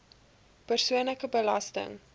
persoonlike belasting